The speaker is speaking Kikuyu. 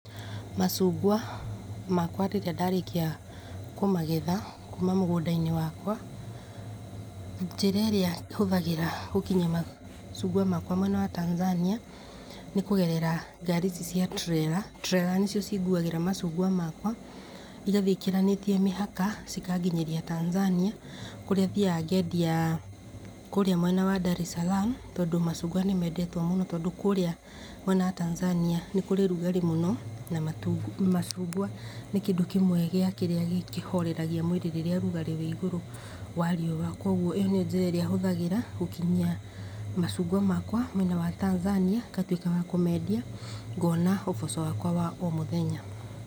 Macungwa makwa rĩrĩa ndarĩkia kũmagetha kuma mũgũnda-inĩ wakwa njĩra ĩrĩa hũthagĩra gũkinyia matunda makwa mwena wa Tanzania nĩ kũgerera ngari ici cia turera. Turera nĩ cio cinguagĩra matunda makwa igathiĩ ĩkĩranĩtie mĩhaka cikanginyĩria Tanzania, kũrĩa thiaga ngendia kũrĩa mwena wa Dar es Salaam tondũ machungwa nĩ mendetwo mũno, tondũ kũrĩa mwena wa Tanzania nĩ kũrĩ ũrugarĩ mũno na machungwa nĩ kũndũ kĩmwe gĩa kĩrĩa kĩhoreragia mwĩrĩ hĩndĩ ĩrĩa riũa rĩrĩ igũrũ wa riũa. Kwoguo ĩyo nĩyo njĩra ĩrĩa hũthagĩra gũkinyia machungwa makwa mwena wa Tanzania ngona ũboco wamwa wa o mũthenya.